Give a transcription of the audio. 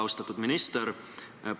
Austatud minister!